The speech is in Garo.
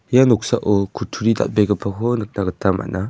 ia noksao kutturi dal·begipako nikna gita man·a.